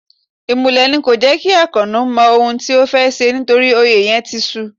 Imúlẹ̀ ni kò jẹ́ kí Akano mọ ohun tí ó fẹ́ ṣe nítorí òye yìí ti su.